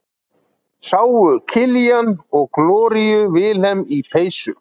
sáu killian og gloría vilhelm í peysu